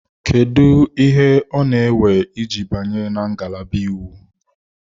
Kedu ihe ọ na-ewe iji banye na ngalaba Iwu?